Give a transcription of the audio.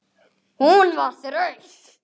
Pabbi stundi þungan.